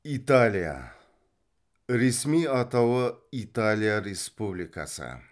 италия ресми атауы италия республикасы